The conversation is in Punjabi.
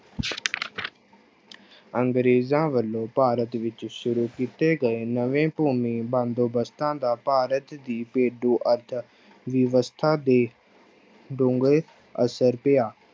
ਅੰਗਰੇਜ਼ਾਂ ਵੱਲੋਂ ਭਾਰਤ ਵਿੱਚ ਸ਼ੁਰੂ ਕੀਤੇ ਗਏ ਨਵੇਂ ਭੂਮੀ ਬੰਦੋਬਸਤਾਂ ਦਾ ਭਾਰਤ ਦੀ ਪੇਂਡੂ ਅਰਥ ਵਿਵਸਥਾ ਤੇ ਡੂੰਘੇ ਅਸਰ ਪਿਆ।